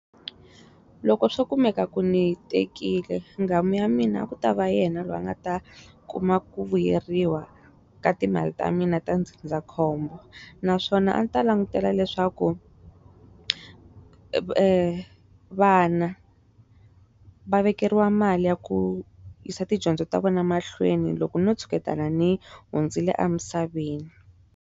Loko swo kumeka ku ndzi tekile nghamu ya mina ku tava yena loyi a nga ta kuma ku vuyeriwa ka timali ta mina ta ndzindzakhombo naswona a ta langutela leswaku vana va vekeriwa mali ya ku yisa tidyondzo ta vona mahlweni loko no tshuketana ni hundzile emisaveni.